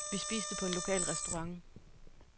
Vi spiste på en lokal restaurant.